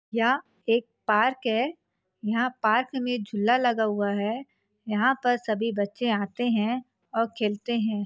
यह एक पार्क है यहां पार्क में झूला लगा हुआ है यहां पर सभी बच्चे आते हैं और खेलते हैं।